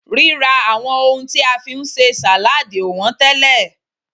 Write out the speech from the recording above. rira awon ohun ti a fi n se saladi o won tele